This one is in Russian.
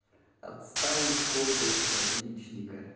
отставить комплекс отличника